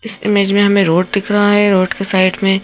इस इमेज में हमें रोड दिख रहा है रोड के साइड में--